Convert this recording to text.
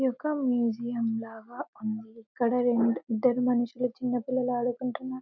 ఇదిఒక మ్యూసియంలాగా ఉంది ఇక్కడ ఇద్దరు మనషులు చిన్న పిల్లలు ఆడుకుంటున్నారు.